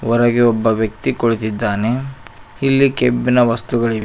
ಹೊರಗೆ ಒಬ್ಬ ವ್ಯಕ್ತಿ ಕುಳಿತಿದ್ದಾನೆ ಇಲ್ಲಿ ಕೆಬ್ಬಿನ ವಸ್ತುಗಳಿವೆ.